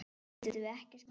Getum við ekkert gert?